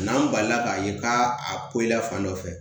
N'an balila k'a ye k'a poyi la fan dɔ fɛ